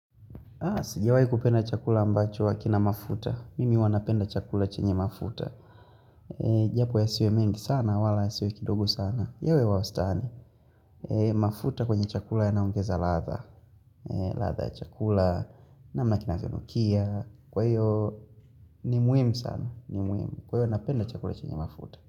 Sijawahi kupenda chakula ambacho hakina mafuta, mimi huwanapenda chakula chenye mafuta Japo yasiwe mengi sana, wala yasiwe kidogo sana, yawe ya wastani mafuta kwenye chakula yanaongeza ladha, ladha ya chakula namna kinachonukia kwa hivyo ni muhimu sana, ni muhimu, kwa hiyvo napenda chakula chenye mafuta.